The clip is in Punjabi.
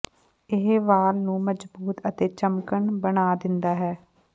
ਇਹ ਵਾਲ ਨੂੰ ਮਜ਼ਬੂਤ ਅਤੇ ਚਮਕਣ ਬਣਾ ਦਿੰਦਾ ਹੈ